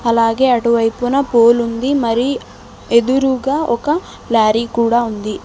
లాగే అటువైపున పోలుంది మరీ ఎదురుగా ఒక లారీ కూడా ఉంది.